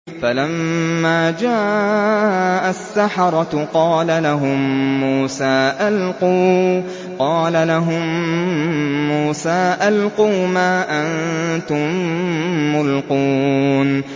فَلَمَّا جَاءَ السَّحَرَةُ قَالَ لَهُم مُّوسَىٰ أَلْقُوا مَا أَنتُم مُّلْقُونَ